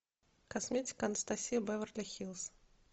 косметика анастасия беверли хиллз